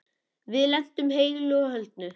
Við lentum heilu og höldnu.